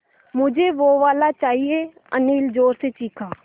मझे वो वाला चाहिए अनिल ज़ोर से चीख़ा